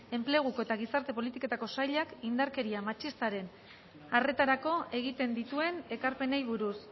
enpleguko eta gizarte politiketako sailak indarkeria matxistaren arretarako egiten dituen ekarpenei buruz